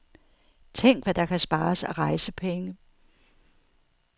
Tænk hvad der kan spares af rejsepenge.